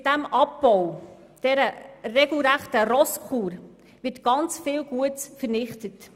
Mit diesem Abbau, einer regelrechten Rosskur, wird sehr viel Gutes vernichtet.